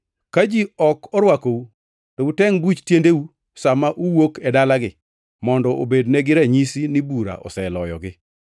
Ka ji ok orwakou, to utengʼ buch tiendeu sa ma uwuok e dalagi mondo obednegi ranyisi ni bura oseloyogi.”